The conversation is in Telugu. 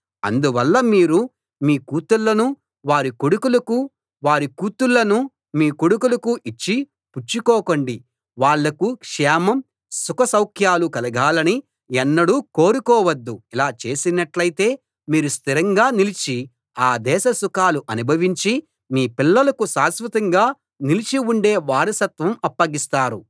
అందువల్ల మీరు మీ కూతుళ్ళను వారి కొడుకులకు వారి కూతుళ్ళను మీ కొడుకులకు ఇచ్చి పుచ్చుకోకండి వాళ్లకు క్షేమం సుఖ సౌఖ్యాలు కలగాలని ఎన్నడూ కోరుకోవద్దు ఇలా చేసినట్టైతే మీరు స్థిరంగా నిలిచి ఆ దేశ సుఖాలు అనుభవించి మీ పిల్లలకు శాశ్వతంగా నిలిచి ఉండే వారసత్వం అప్పగిస్తారు